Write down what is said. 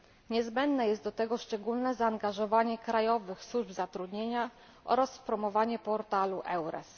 Niezbędne jest do tego szczególne zaangażowanie krajowych służb zatrudnienia oraz promowanie portalu EURES.